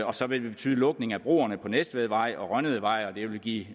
og så vil det betyde lukning af broerne på næstvedvej og rønnedevej og det vil give